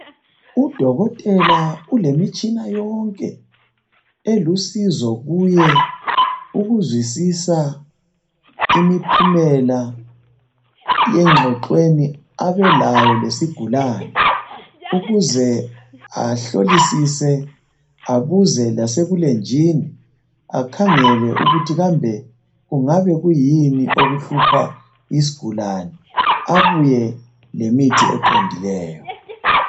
Udokotela ulemitshina yonke elusizo kuye ukuzwisisa imiphumela exoxweni abe layo lesigulane ukuze ahlolisise abuze lasebulenjini akhangele ukuthi kambe kungaba kuyini okuhlupha isigulane abuye lemithi eqondileyo.